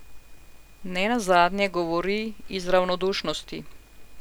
Ne nazadnje govori in ravnodušnosti.